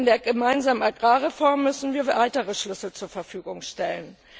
In der gemeinsamen Agrarreform müssen wir weitere Schlüssel zur Verfügung stellen.